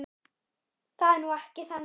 Það er nú ekki þannig.